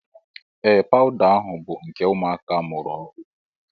Ee pawuda ahụ bụ nke ụmụaka a mụrụ ọhụụ.